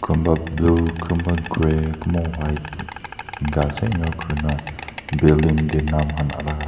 kunba blue kunba grey kunba white enika ase enika kurina building tae nam khan ala.